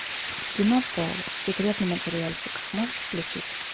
кино пол секретный материальчик можешь включить